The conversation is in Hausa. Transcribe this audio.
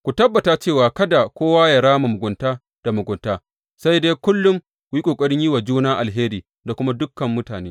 Ku tabbata cewa kada kowa yă rama mugunta da mugunta, sai dai kullum ku yi ƙoƙarin yin wa juna alheri da kuma dukan mutane.